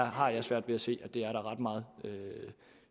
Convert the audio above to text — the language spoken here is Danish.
har svært ved at se at der er ret meget